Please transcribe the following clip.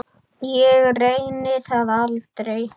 Ég reyni það aldrei.